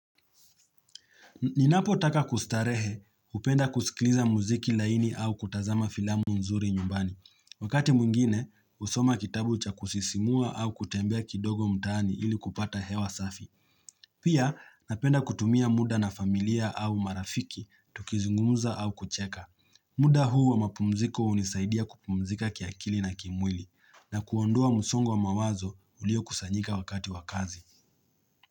Ninapo taka kustarehe, hupenda kusikiliza muziki laini au kutazama filamu nzuri nyumbani. Wakati mwingine, husoma kitabu cha kusisimua au kutembea kidogo mtaani ili kupata hewa safi. Pia, napenda kutumia muda na familia au marafiki, tukizungumuza au kucheka. Muda huu wa mapumziko hunisaidia kupumzika kiakili na kimwili na kuondoa msongo wa mawazo ulio kusanyika wakati wa kazi.